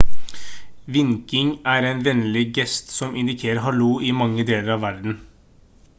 vinking er en vennlig gest som indikerer «hallo» i mange deler av verden